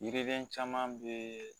Yiriden caman bɛ